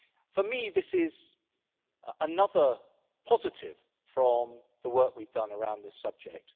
For me, this is another positive from the work we've done around this subject.